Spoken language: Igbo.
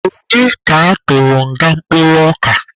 Onye bụ ka atụrụ nga kpụrụ ọka?